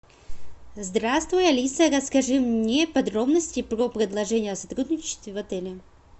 здравствуй алиса расскажи мне подробности про предложение о сотрудничестве в отеле